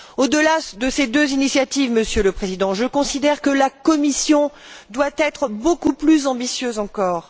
Au delà de ces deux initiatives, Monsieur le Président, je considère que la Commission doit être beaucoup plus ambitieuse encore.